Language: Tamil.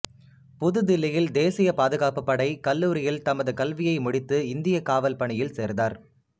புது தில்லியில் தேசிய பாதுகாப்புப் படை கல்லூரியில் தமது கல்வியை முடித்து இந்தியக் காவல் பணியில் சேர்ந்தார்